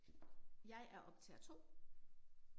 Jeg er optager 2